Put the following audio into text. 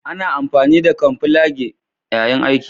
Ana amfani da camoflage yayin yaƙi